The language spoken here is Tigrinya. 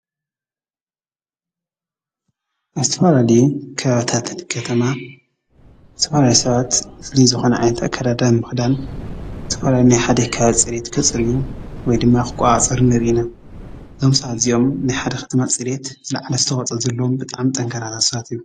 ኣብ ዝተፈላለየ ከባብታት ከተማ ዝተፈላለዩ ሰባት ፍሉይ ዝኾነ ዓይነት ኣካዳድና ክዳን ብምኽዳን ዝተፈላለዩ ፅሬት ከፅርዩ ወይ ድማ ክቆፃፀሩ ንሪኢ ኢና፡፡ ዞም ሰባት እዚኦም ናይ ሓደ ከተማ ፅሬት ዝላዓለ ኣስተዋፅኦ ዘለዎም ብጣዕሚ ጠንካራታት ሰባት እዮም፡፡